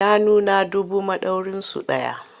Shanuna dubu madaurinsu ɗaya.